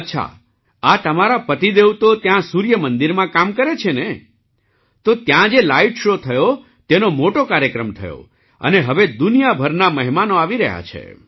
અચ્છા આ તમારા પતિદેવ તો ત્યાં સૂર્યમંદિરમાં કામ કરે છે ને તો ત્યાં જે લાઇટ શૉ થયો તેનો મોટો કાર્યક્રમ થયો અને હવે દુનિયાભરના મહેમાનો આવી રહ્યા છે